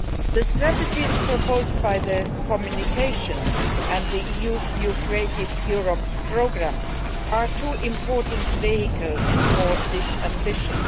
The strategies proposed by the communication and the EU's new Creative Europe programme are two important vehicles for this ambition.